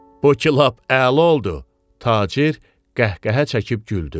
Bu ki lap əla oldu, tacir qəhqəhə çəkib güldü.